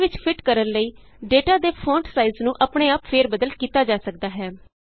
cell ਵਿਚ fit ਕਰਨ ਲਈ ਡੇਟਾ ਦੇ ਫੋਂਟ ਸਾਈਜ ਨੂੰ ਆਪਣੇ ਆਪ ਫੇਰ ਬਦਲ ਕੀਤਾ ਜਾ ਸਕਦਾ ਹੈ